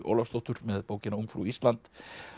Ólafsdóttur með bókina ungfrú Ísland